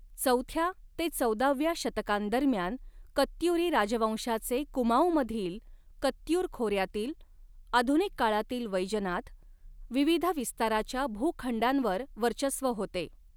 चौथ्या ते चौदाव्या शतकांदरम्यान, कत्युरी राजवंशाचे कुमाऊमधील कत्युर खोऱ्यातील आधुनिक काळातील वैजनाथ विविध विस्ताराच्या भूखंडांवर वर्चस्व होते.